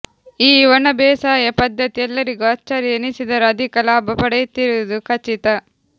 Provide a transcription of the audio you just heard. ಈ ಒಣಬೇಸಾಯ ಪದ್ಧತಿ ಎಲ್ಲರಿಗೂ ಆಶ್ಚರ್ಯ ಎನಿಸಿದರೂ ಅಧಿಕ ಲಾಭ ಪಡೆಯುತ್ತಿರುವುದು ಖಚಿತ